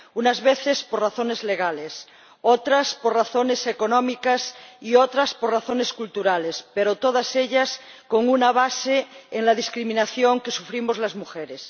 Unas veces por razones legales, otras por razones económicas, y otras por razones culturales, pero en todos los casos con una base en la discriminación que sufrimos las mujeres.